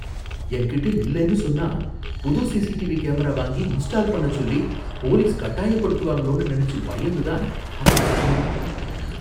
என்கிட்ட இல்லன்னு சொன்னா புது சிசிடிவி கேமரா வாங்கி இன்ஸ்டால் பண்ணச் சொல்லி போலீஸ் கட்டாயப்படுத்துவாங்களோன்னு நினைச்சு பயந்துதான் அப்படி சொன்னேன்